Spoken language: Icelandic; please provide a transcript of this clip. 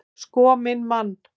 Sko minn mann!